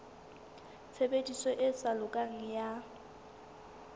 tshebediso e sa lokang ya